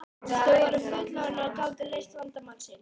Verum raunsæ, sagði Bjössi, hún er mállaus, hún er falleg.